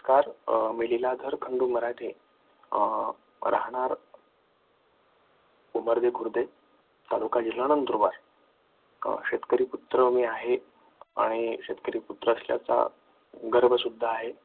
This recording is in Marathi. तर मी लीलाधर खंडू मराठे राहणार तालुका जिल्हा नंदुरबार शेतकरी पुत्र मी आहे आणि शेतकरी अं पुत्र असल्याचा गर्व सुद्धा आहे